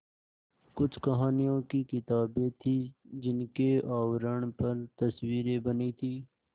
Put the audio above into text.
कुछ कहानियों की किताबें थीं जिनके आवरण पर तस्वीरें बनी थीं